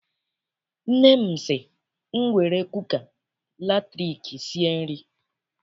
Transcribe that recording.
Nne m sị m were kuka latriki sie nri.